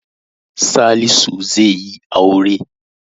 Salisu zaiyi aure